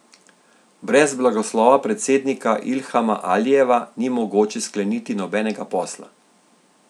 Brez blagoslova predsednika Ilhama Alijeva ni mogoče skleniti nobenega posla.